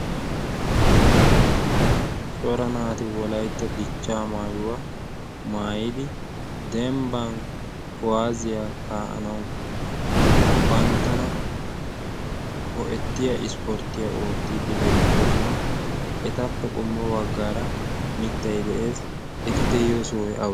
cora naati wolaytta dichcha maayuwaa maayidi dembbang kowaaziyaa kaa'anawu banttana ho'ettiya ispporttiya oottiiddi beettoosona. etappe qommo baggaara mittay de'ees eti de'iyo sohoy awee?